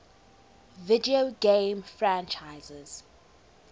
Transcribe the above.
video game franchises